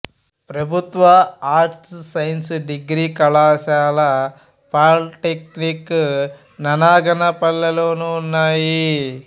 ప్రభుత్వ arts science degree కళాశాల polytechnic Nanaganapalle లోనూ ఉన్నాయి